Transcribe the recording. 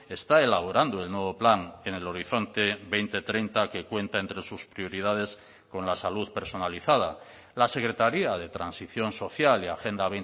está elaborando el nuevo plan en el horizonte dos mil treinta que cuenta entre sus prioridades con la salud personalizada la secretaría de transición social y agenda